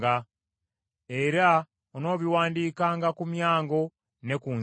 Era onoobiwandiikanga ku myango ne ku nzigi,